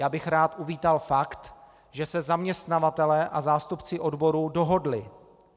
Já bych rád uvítal fakt, že se zaměstnavatelé a zástupci odborů dohodli.